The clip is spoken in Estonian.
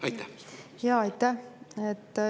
Aitäh!